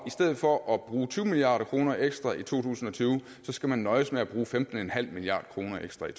i stedet for at bruge tyve milliard kroner ekstra i to tusind og tyve skal nøjes med at bruge femten en halv milliard kroner ekstra